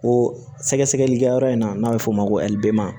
O sɛgɛsɛgɛlikɛyɔrɔ in na n'a bɛ f'o ma ko